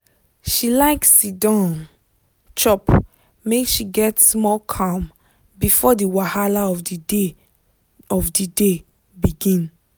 she like siddon chop make she get small calm before the wahala of the day of the day begin.